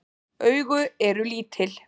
Augu eru lítil.